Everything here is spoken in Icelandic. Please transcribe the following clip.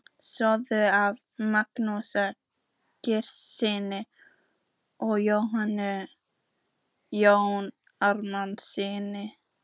Söfnuð af Magnúsi Grímssyni og Jóni Árnasyni.